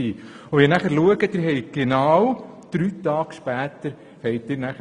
Und Sie haben das nun vorliegende Postulat zu den Kindergärten genau drei Tage später eingereicht.